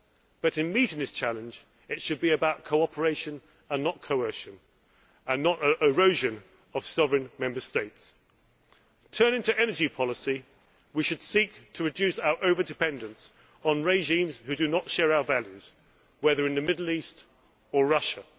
But, in meeting this challenge, it should be about cooperation and not coercion and not the erosion of sovereign Member States. Turning to energy policy, we should seek to reduce our over dependence on regimes which do not share our values, whether in the Middle East or Russia.